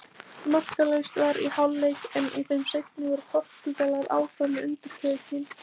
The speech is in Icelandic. Markalaust var í hálfleik en í þeim seinni voru Portúgalar áfram með undirtökin.